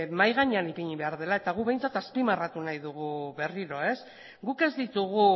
mahai gainean ipini behar dela eta guk behintzat azpimarratu nahi dugu berriro guk ez ditugu